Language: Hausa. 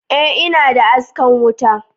e ina da askan wuta